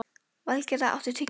Valgerða, áttu tyggjó?